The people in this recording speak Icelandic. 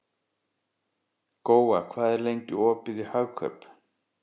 Góa, hvað er lengi opið í Hagkaup?